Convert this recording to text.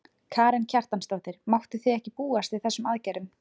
Karen Kjartansdóttir: Máttuð þið ekki búast við þessum aðgerðum?